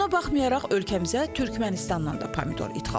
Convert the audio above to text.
Buna baxmayaraq, ölkəmizə Türkmənistandan da pomidor idxal olunur.